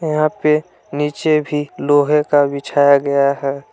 यहां पे नीचे भी लोहे का बिछाया गया है।